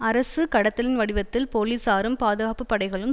அரசு கடத்தலின் வடிவத்தில் போலீசாரும் பாதுகாப்புப்படைகளும்